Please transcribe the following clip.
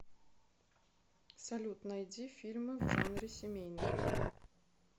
салют найди фильмы в жанре семейный